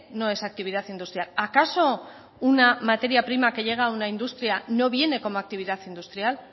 no es actividad industrial acaso una materia prima que llega a una industria no viene como actividad industrial